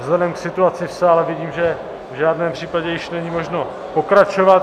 Vzhledem k situaci v sále vidím, že v žádném případě již není možno pokračovat.